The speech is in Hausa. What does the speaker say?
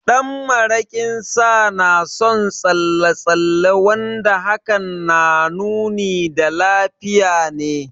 Ɗan maraƙin Sa na da son tsalle tsalle wanda hakan na nuni da lafiya ne.